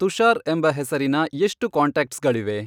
ತುಷಾರ್ ಎಂಬ ಹೆಸರಿನ ಎಷ್ಟು ಕಾಂಟ್ಯಾಕ್ಟ್ಸ್ಗಳಿವೆ ?